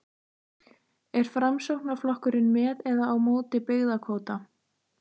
Er Framsóknarflokkurinn með eða á móti byggðakvóta?